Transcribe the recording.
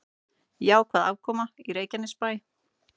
Jákvæð afkoma í Reykjanesbæ